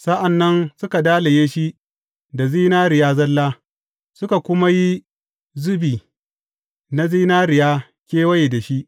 Sa’an nan suka dalaye shi da zinariya zalla, suka kuma yi zubi na zinariya kewaye da shi.